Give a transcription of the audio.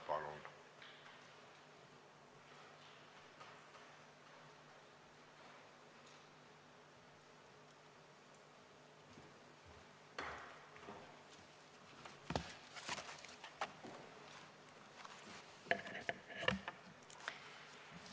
Palun!